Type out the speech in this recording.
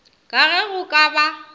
ka ge go ka ba